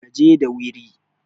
ka je dawiri!